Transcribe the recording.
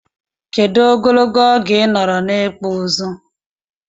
Kedu ogologo oge inọrọ na ikpụ ụzụ?